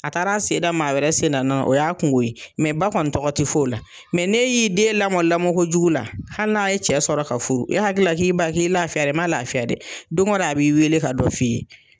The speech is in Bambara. A taara sen da maa wɛrɛ sen ga nɔ la, o y'a kunko ye, mɛ ba kɔni tɔgɔ tɛ fɔ o la ,mɛ n'e y'i den lamɔ lamɔn kojugu la, hali n'a ye cɛ sɔrɔ ka furu, e hakilila k'i ba k'i lafiyala, i ma lafiya dɛ! Don dɔ a b'i weele ka dɔ f' i ye!